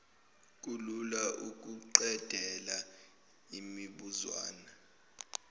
kulula ukuqedela lemibuzwana